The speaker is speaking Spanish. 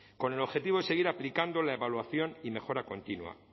con el objetivo de seguir aplicando la evaluación y mejora continua